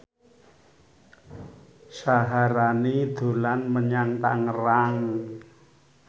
Syaharani dolan menyang Tangerang